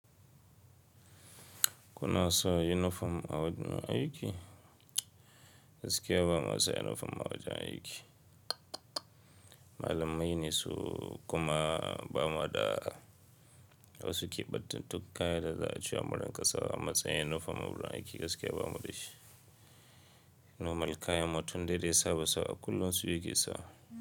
Kuna sa uniform a wajen aiki? Gaskiya ba mu sa uniform a wajen aiki. Malamai ne su kuma ba mu haɗa. Wasu ke ɓattantu kaya da za a cewa mu rinka sawa amatsayin uniform a wurin aiki gaskiya ba mu da shi. Normal kayan mutum dai da ya saba sawa a kullum su yake sawa.